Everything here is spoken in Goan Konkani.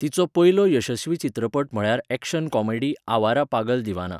तिचो पयलो यशस्वी चित्रपट म्हळ्यार एक्शन कॉमेडी आवारा पागल दीवाना.